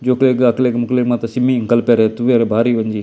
ಜೋಕ್ಲೆಗ್ ಅಕ್ಲೆಗ್ ಮೊಕ್ಲೆಗ್ ಮಾತ ಸಿಮ್ಮಿಂಗ್ ಕಲ್ಪೆರೆ ತೂವೆರೆ ಬಾರಿ ಒಂಜಿ.